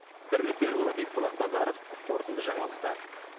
бірлік берікұлы бекболат базаров қорытынды жаңалықтар